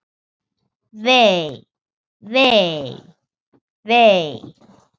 Vei, vei, vei.